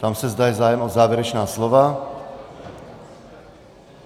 Ptám se, zda je zájem o závěrečná slova.